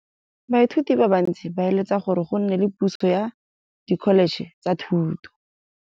Baithuti ba bantsi ba eletsa gore go nne le pusô ya Dkholetšhe tsa Thuto.